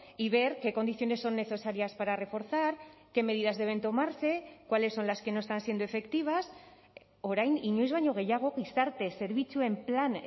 y ver qué condiciones son necesarias para reforzar qué medidas deben tomarse cuáles son las que no están siendo efectivas orain inoiz baino gehiago gizarte zerbitzuen plan